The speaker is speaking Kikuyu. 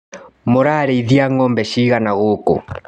Mũrarĩithia ngombe cigana gũkũ.